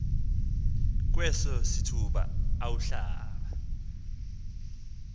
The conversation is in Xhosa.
kweso sithuba awuhlaba